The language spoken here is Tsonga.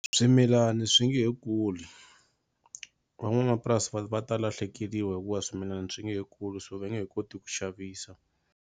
Swimilani swi nge he kuli van'wamapurasi va va ta lahlekeliwa hikuva swimilana swi nge kuli so va nge he koti ku xavisa.